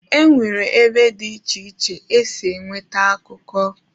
E nwere ebe dị iche iche esi enweta akụkọ.